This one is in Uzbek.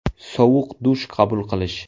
Sovuq dush qabul qilish.